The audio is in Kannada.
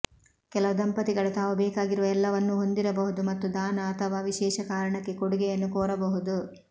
ಕೆಲವು ದಂಪತಿಗಳು ತಾವು ಬೇಕಾಗಿರುವ ಎಲ್ಲವನ್ನೂ ಹೊಂದಿರಬಹುದು ಮತ್ತು ದಾನ ಅಥವಾ ವಿಶೇಷ ಕಾರಣಕ್ಕೆ ಕೊಡುಗೆಯನ್ನು ಕೋರಬಹುದು